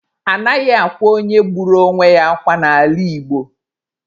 Anaghị akwa onye gburu onwe ya akwa n'ala Igbo.